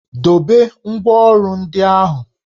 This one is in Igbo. Dobe ngwá ọrụ ndị ahụ!